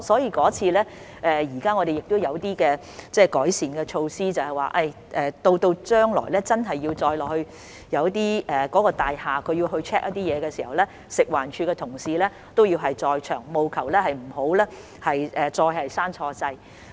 在那次故障後，我們已採取一些改善措施，若大廈人員將來要到其控制室 check 的時候，食環署的同事亦會在場，務求不會再錯誤關掉開關。